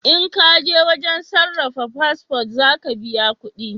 In kaje wajen sarrafa fasfo za ka biya kudi